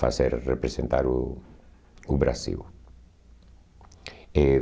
fazer representar o o Brasil. E